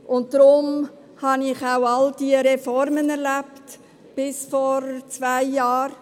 Deshalb habe ich auch all diese Reformen erlebt, die es bis vor zwei Jahre gab.